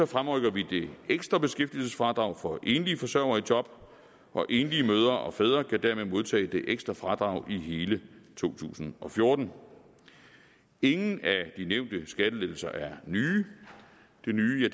fremrykker vi det ekstra beskæftigelsesfradrag for enlige forsørgere i job og enlige mødre og fædre kan dermed modtage det ekstra fradrag i hele to tusind og fjorten ingen af de nævnte skattelettelser er nye det nye